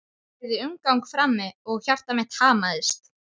Ég heyrði umgang frammi og hjarta mitt hamaðist.